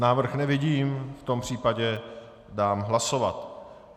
Návrh nevidím, v tom případě dám hlasovat.